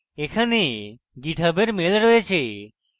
এখানে github এর email রয়েছে